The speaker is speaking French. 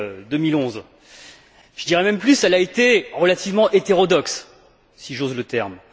2011. Je dirai même plus, elle a été relativement hétérodoxe, si j'ose le terme.